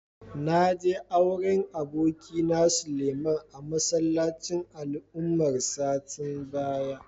Na je auren abokina, Suleiman a masallacin Ali Umar satin baya.